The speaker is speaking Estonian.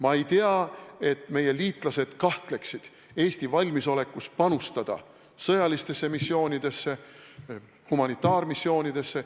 Ma ei tea, et meie liitlased kahtleksid Eesti valmisolekus panustada sõjalistesse missioonidesse, humanitaarmissioonidesse.